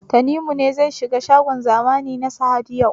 Tanimu ne zai shiga shagon zamani na Sahad yau?